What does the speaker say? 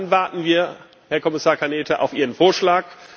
Dann warten wir, Herr Kommissar Arias Cañete, auf Ihren Vorschlag.